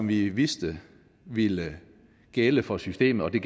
vi vidste ville gælde for systemet og det